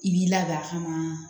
I b'i ladiya a kama